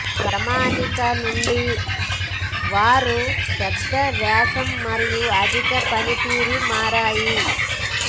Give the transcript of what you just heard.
ప్రామాణిక నుండి వారు పెద్ద వ్యాసం మరియు అధిక పనితీరు మారాయి